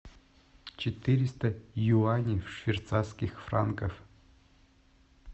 четыреста юаней в швейцарских франках